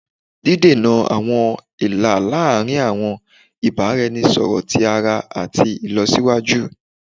didena awọn ila laarin awọn ibaraẹnisọrọ ti ara ati ilọsiwaju